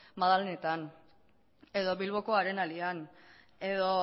madalenetan edo bilboko arenalean edo